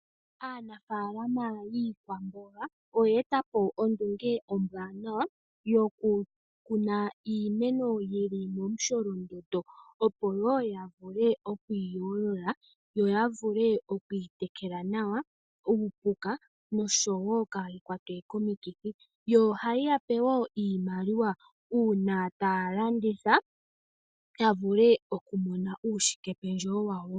Aanafaalama yiikwamboga oya etapo ondunge ombwanawa yoku kuna iimeno yili momusholondondo ,opo woo yavule oku helela yo yavule okuyi tekela nawa, uupuka noshowo kayi kwatwe komikithi. Ohayi yape woo iimaliwa uuna ta yeyi landitha yavule okumona uushike pendjewo wawo .